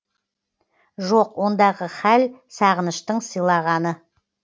жоқ ондағы хәл сағыныштың сыйлағаны